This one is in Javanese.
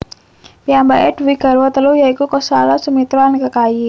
Piyambake duwé garwa telu ya iku Kosalya Sumitra lan Kekayi